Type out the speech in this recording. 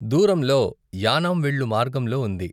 దూరంలో యానాం వెళ్ళు మార్గంలో ఉంది.